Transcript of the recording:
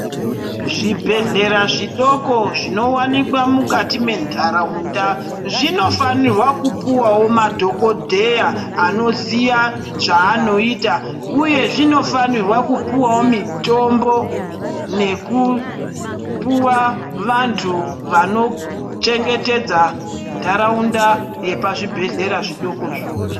Zvibhedhlera zvidoko zvinowanika mukati mwentharaunda zvinofanirwa kupuwawo madhokodheya anoziya zvaanoita uye zvonofanirwa kupuwawo mithombo nekupuwa vanthu vanochengetedza ntharaunda yepazvibhedhera zvidokozvo.